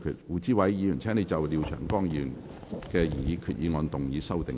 胡志偉議員，請就廖長江議員的擬議決議案動議修訂議案。